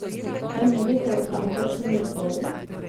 Kaj menite o tamkajšnjem izboru?